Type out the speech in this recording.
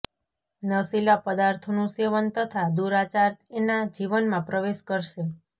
નશીલા પદાર્થોનું સેવન તથા દુરાચાર એના જીવનમાં પ્રવેશ કરશે